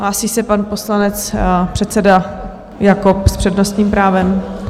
Hlásí se pan poslanec, předseda Jakob s přednostním právem.